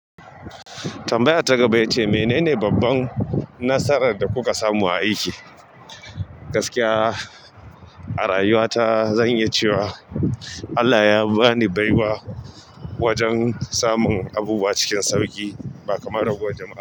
Tambayar ta gaba ya ce menene babban nasarar da kuka samu a aiki? Gaskiya, a rayuwa ta zan iya cewa Allah ya ba ni baiwa wajen samun abubuwa cikin sauƙi ba kamar ragowan jama'a.